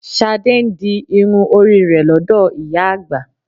Ṣadé ń di irun orí rẹ̀ lọ́dọ̀ ìyá àgbà